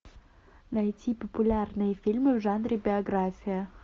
найти популярные фильмы в жанре биография